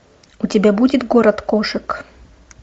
у тебя будет город кошек